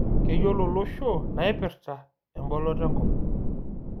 Keyiolo olosho naipirta emboloto enkop